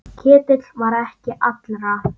Ketill var ekki allra.